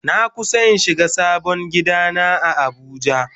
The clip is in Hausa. Na kusa in shiga sabon gida na a abuja.